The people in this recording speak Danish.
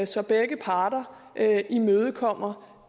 så begge parter imødekommer